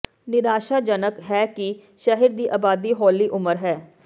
ਨਿਰਾਸ਼ਾਜਨਕ ਹੈ ਕਿ ਸ਼ਹਿਰ ਦੀ ਆਬਾਦੀ ਹੌਲੀ ਉਮਰ ਹੈ